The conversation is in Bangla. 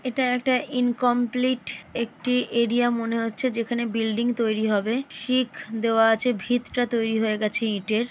এটা একটা ইনকমপ্লিট একটি এরিয়া মনে হচ্ছে যেখানে বিল্ডিং তৈরি হবে। শিখ দেওয়া আছে ভিতটা তৈরি হয়ে গেছে ইটের।